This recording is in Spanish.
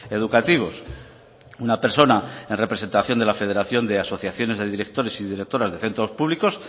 educativos una persona en representación de la federación de asociaciones de directores y directoras de centros públicos